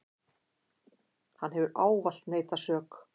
Hann hefur ávallt neitað sök.